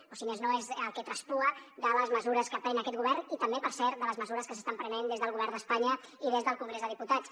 o si més no és el que traspuen les mesures que pren aquest govern i també per cert les mesures que s’estan prenent des del govern d’espanya i des del congrés de diputats